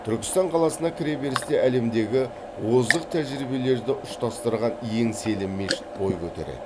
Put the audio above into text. түркістан қаласына кіреберісте әлемдегі озық тәжірибелерді ұштастырған еңселі мешіт бой көтереді